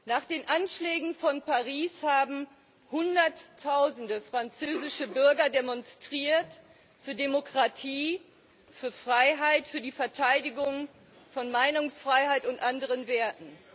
Nach den Anschlägen von Paris haben hunderttausende französische Bürger demonstriert für Demokratie, für Freiheit, für die Verteidigung von Meinungsfreiheit und anderen Werten.